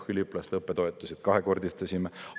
Üliõpilaste õppetoetused kahekordistasime.